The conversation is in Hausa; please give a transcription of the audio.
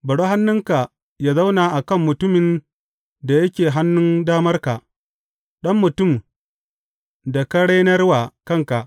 Bari hannunka yă zauna a kan mutumin da yake hannun damarka, ɗan mutum da ka renar wa kanka.